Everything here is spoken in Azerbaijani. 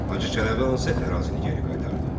Hacı Çələbi hansı ərazini geri qaytardı?